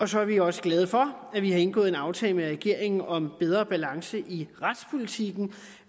så er vi også glade for at vi har indgået en aftale med regeringen om en bedre balance i retspolitikken